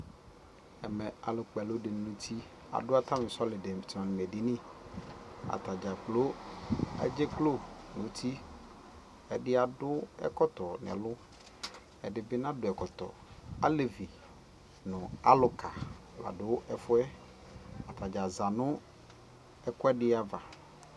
Ɛmɛ, alʋkpealɔ dʋ nʋ uti, adu atani sɔlimɛdini Atadzakpo adzeklo nʋ uti Ɛdi adu ɛkɔtɔ nʋ ɛlʋ Ɛdι bι nadʋ ɛkɔtɔ Alevi nʋ alʋka la dʋ ɛfu yɛ Atadza za nʋ ɛkuɛdι ava